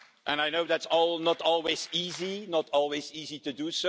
I know that's not always easy to do.